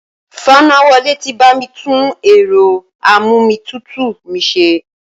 Fanáwọlé ti bá mi tún ẹ̀rọ a-mú-omi-tútù mi ṣe